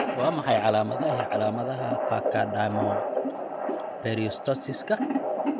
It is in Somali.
Waa maxay calaamadaha iyo calaamadaha Pachydermoperiostosiska?